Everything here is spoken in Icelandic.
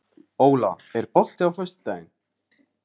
Óla, er bolti á föstudaginn?